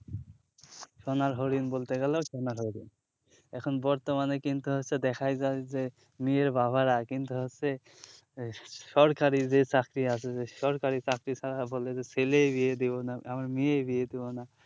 সোনার হরিণ বলতে গেলেও সোনার হরিণ এখন বর্তমানে কিন্তু হচ্ছে দেখাই যায় যে মেয়ের বাবারা কিন্তু হচ্ছে সরকারি যে চাকরি আছে যে সরকারি চাকরি ছাড়া বলে যে ছেলে বিয়ে দিবো না আমার মেয়ে বিয়ে দিবো না